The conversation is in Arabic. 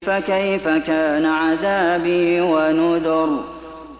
فَكَيْفَ كَانَ عَذَابِي وَنُذُرِ